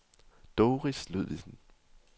Doris Ludvigsen